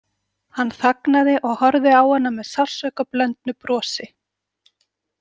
Hann þagnaði og horfði á hana með sársaukablöndnu brosi.